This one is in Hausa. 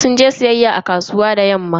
Sun je siyayya a kasuwa da yamman nan.